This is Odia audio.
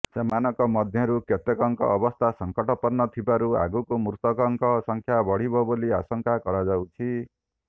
ସେମାନଙ୍କ ମଧ୍ୟରୁ କେତେକଙ୍କ ଅବସ୍ଥା ସଂକଟାପନ୍ନ ଥିବାରୁ ଆଗକୁ ମୃତକଙ୍କ ସଂଖ୍ୟା ବଢିବ ବୋଲି ଆଶଙ୍କା କରାଯାଉଛି